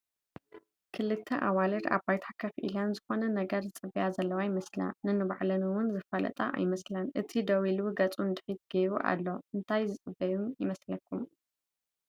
ክልተ ኣዋልድ ኣብ ባይታ ከፍ ኢለን ዝኾነ ነገር ዝፅበያ ዘለዋ ይመስላ፡፡ ነንባዕለን ውን ዝፋለጣ ኣይመስላን፡፡ እቲ ደው ኢሉ ገፁ ንድሕሪት ገይሩ ኣሎ፡፡ እንታይ ዝፅበዩ ይመስለኩም?